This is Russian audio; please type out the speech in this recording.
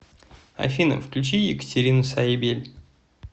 афина включи екатерину саибель